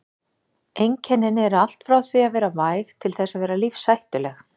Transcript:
Einkennin eru allt frá því að vera væg til þess að vera lífshættuleg.